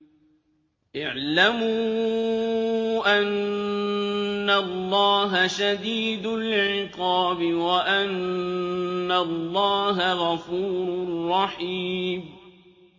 اعْلَمُوا أَنَّ اللَّهَ شَدِيدُ الْعِقَابِ وَأَنَّ اللَّهَ غَفُورٌ رَّحِيمٌ